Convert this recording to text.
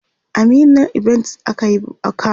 a meena event akayi kamu